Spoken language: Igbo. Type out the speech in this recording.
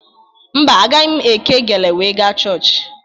Mba, agaghị m eke gele wee ga chọọchị